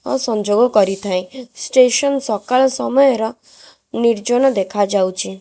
ସଂଯୋଗ କରିଥାଏ ଷ୍ଟେସନ୍ ସକାଳ ସମୟର ନିର୍ଜନ ଦେଖା ଯାଉଚି।